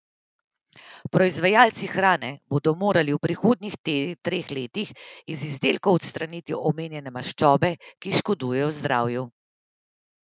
Proizvajalci hrane bodo morali v prihodnjih treh letih iz izdelkov odstraniti omenjene maščobe, ki škodujejo zdravju.